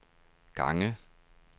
gange